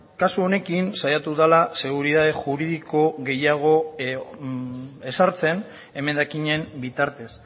kasu honekin saiatu dela seguritate juridiko gehiago ezartzen emendakinen bitartez